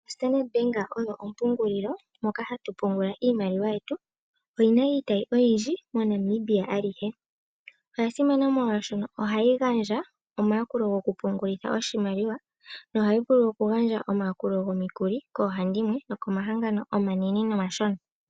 Standard Bank oyo ompungulilo moka hatu pungula iimaliwa yetu, oyi na iitayi oyindji MoNamibia alihe. Oya simana molwaashono ohayi gandja omayakulo gokupungulitha oshimaliwa. Nohayi vulu okugandja omikuli koohandimwe nokomahangano omanene nomashona.